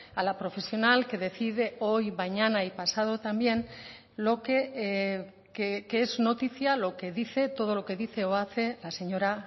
a la profesional que decide hoy mañana y pasado también lo que qué es noticia lo que dice todo lo que dice o hace la señora